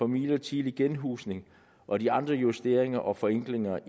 midlertidig genhusning og de andre justeringer og forenklinger